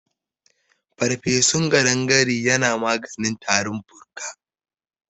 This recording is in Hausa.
Farfesun kaɗangare yana maganin tarin fuka.